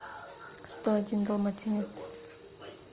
сто один далматинец